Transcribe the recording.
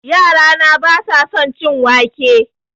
Yara na ba sa son cin wake